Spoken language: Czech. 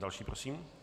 Další prosím.